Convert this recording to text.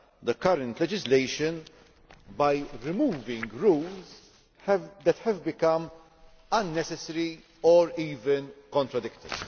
the current legislation by removing rules that have become unnecessary, or even contradictory.